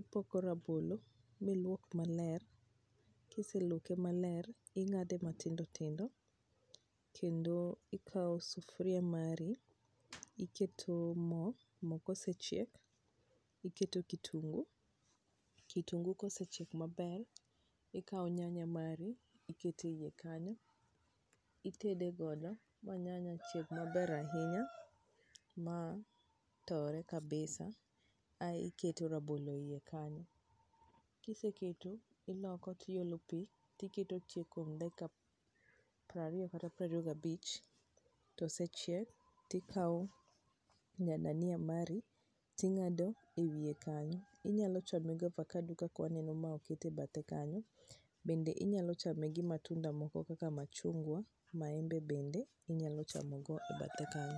Ipoko rabolo miluok maler, kiseluoke maler, ing'ade matindo tindo kendo ikao sufria mari iketo mo, mo kosechiek iketo kitungu, kitungu kosechiek maber, ikao nyanya mari, iketo e wie kanyo, itede godo ma nyanya chieg maber ahinya ma tore kabisa, ae oketo rabolo e ie kanyo. Kiseketo, iloko tiolo pi, tiketo chiek kuom dakika prariyo kata prariyo gi abich to osechiek, tikao nya dania mari, ting'ado e wie kanyo. Inyalo chame gi avocado kaka waneno mae oket e bethe kanyo, bende inyalo chame gi matunda moko kaka [cs machungwa, maembe bende inyalo chamo go e bathe kanyo.